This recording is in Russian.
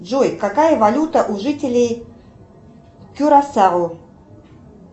джой какая валюта у жителей кюрасао